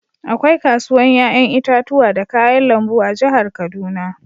Akwai kasuwan yayan itatuwa da kayan lambu a'jihar Kaduna.